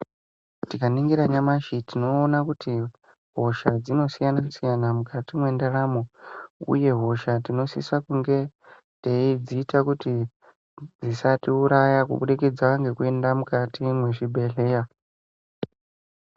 Tikaningira nyamashi tinoona kuti hosha dzinosiyana-siyana mukati mwendaramo uye hosha tinosisa kunge teidziita kuti dzisatiuraya kubudikidza ngekuenda mukati mezvibhedhlera.